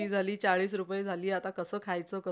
हम्म